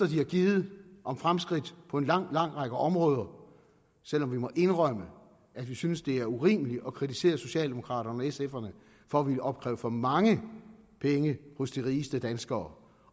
de har givet om fremskridt på en lang lang række områder selv om vi må indrømme at vi synes det er urimeligt at kritisere socialdemokraterne og sf’erne for at ville opkræve for mange penge hos de rigeste danskere